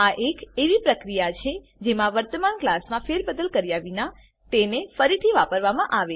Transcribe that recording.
આ એક એવી પ્રક્રિયા છે જેમાં વર્તમાન ક્લાસમાં ફેરબદલ કર્યા વિના તેને ફરીથી વાપરવામાં આવે છે